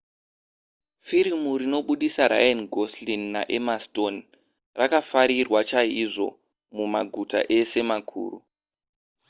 firimu rinobudisa ryan gosling naemma stone rakafarirwa chaizvo mumaguta ese makuru